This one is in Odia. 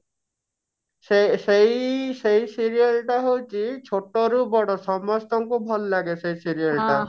ସେ ସେଇ ସେଇ serial ଟା ହଉଛି ଛୋଟ ରୁ ବଡ ସମସ୍ତଙ୍କୁ ଭଲ ଲାଗେ ସେ serial ଟା